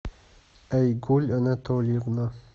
айгуль анатольевна